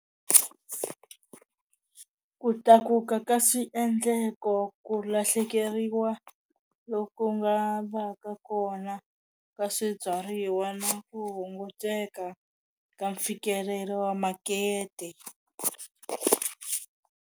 Ku tlakuka ka swiendleko, ku lahlekeriwa loku nga va ka kona ka swibyariwa na ku hunguteka ka mfikelelo wa makete.